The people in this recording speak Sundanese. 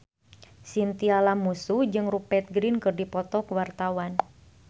Chintya Lamusu jeung Rupert Grin keur dipoto ku wartawan